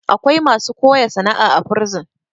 akwai masu koya sana'a a a bursin